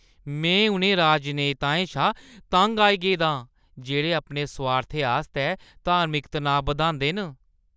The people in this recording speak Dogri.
में उ'नें राजनेताएं शा तंग आई गेदा आं जेह्ड़े अपने सोआर्थै आस्तै धार्मिक तनाऽ बधांदे न।